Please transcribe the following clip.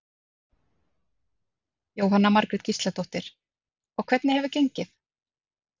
Jóhanna Margrét Gísladóttir: Og hvernig hefur gengið?